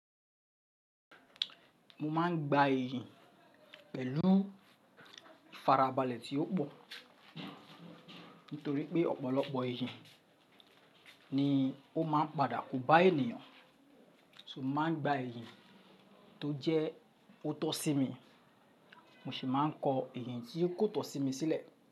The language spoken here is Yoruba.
Mo máa ń gba eeyan pẹ̀lú ifarabalẹ̀ tí ó pọ̀ nítorí pé ọ̀pọ̀lọpọ̀ eeyan ni ó máa ń padà kóbá ènìyàn, so mo máa ń gba eeyan tó jẹ́ ó tọ́ sí mi, mo sì máa ń kọ eeyan tí kò tọ́ sí mi sílẹ̀.